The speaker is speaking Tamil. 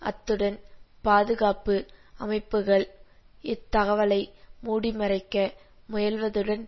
அத்துடன் பாதுகாப்பு அமைப்புகள் இத் தகவலை மூடிமறைக்க முயல்வதுடன்